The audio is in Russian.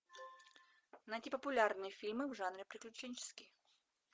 найти популярные фильмы в жанре приключенческий